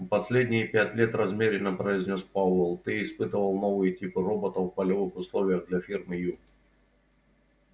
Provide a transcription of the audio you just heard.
последние пять лет размеренно произнёс пауэлл ты испытывал новые типы роботов в полевых условиях для фирмы ю